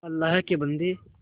अल्लाह के बन्दे